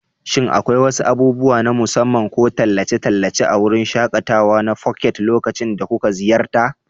Shin akwai wasu abubuwa na musamman ko tallace-tallace a wurin shaƙatawa na Phuket lokacin da kuka ziyarta?